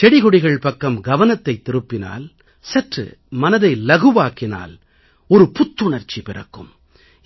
செடிகொடிகள் பக்கம் கவனத்தைத் திருப்பினால் சற்று மனதை லகுவாக்கினால் ஒரு புத்துணர்ச்சி பிறக்கும்